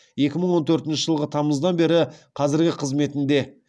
екі мың он төртінші жылғы тамыздан бері қазіргі қызметінде